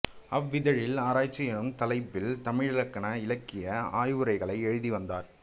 அவ்விதழில் ஆராய்ச்சி என்னும் தலைப்பில் தமிழிலக்கண இலக்கிய ஆய்வுரைகளை எழுதி வந்தார்